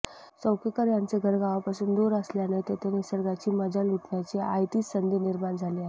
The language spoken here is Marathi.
चौकेकर यांचे घर गावापासून दूर असल्याने तेथे निसर्गाची मजा लुटण्याची आयतीच संधी निर्माण झाली आहे